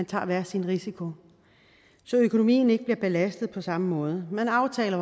tager sin risiko så økonomien ikke bliver belastet på samme måde man aftaler